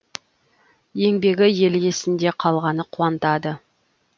еңбегі ел есінде қалғаны қуантады